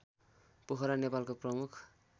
पोखरा नेपालको प्रमुख